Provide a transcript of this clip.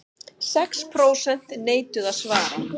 Sex prósent neituðu að svara